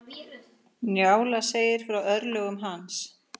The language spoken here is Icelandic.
Njála segir frá örlögum hans.